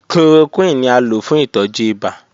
Chloroquine ni a lo fun itọju ibà.